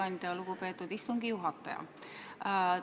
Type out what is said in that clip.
Aitäh, lugupeetud istungi juhataja!